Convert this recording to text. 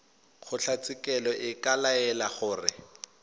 kgotlatshekelo e ka laela gore